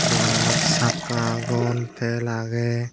dogananot sakka agon tel agey.